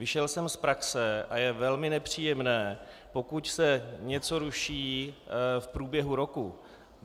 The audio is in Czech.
Vyšel jsem z praxe a je velmi nepříjemné, pokud se něco ruší v průběhu roku.